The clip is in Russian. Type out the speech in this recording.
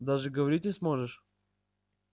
даже говорить не сможешь